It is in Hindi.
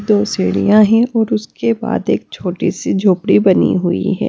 दो सीढ़ियां हैं और उसके बाद एक छोटी सी झोपड़ी बनी हुई है।